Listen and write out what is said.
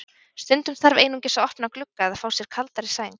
Stundum þarf einungis að opna glugga eða fá sér kaldari sæng.